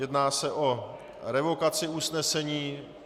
Jedná se o revokaci usnesení